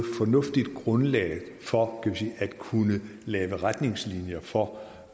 fornuftigt grundlag for at kunne lave retningslinjer for